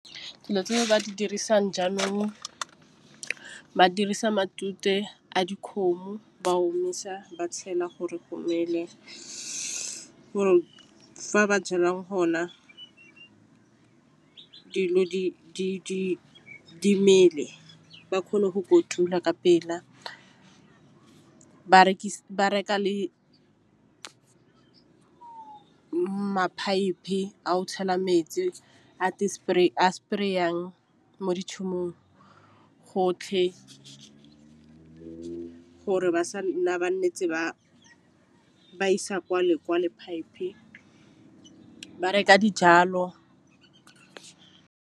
Dilo tse ba di dirisang jaanong ba dirisa matute a dikgomo ba omisa ba tšhela gore go mele. Fa ba tswelelang hona dilo di mele ba kgone go kotula ka pela ba reka le ma-pipe a go tšhela metsi spray a spray-ang mo gotlhe gore ba sa nna ba isa kwa lekwa pipe ba reka dijalo.